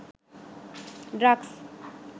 drugs